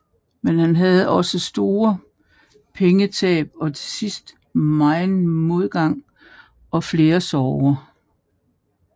Men han havde også store pengetab og til sidst megen modgang og flere sorger